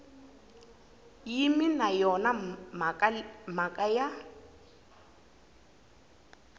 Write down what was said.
yimi na yona mhaka ya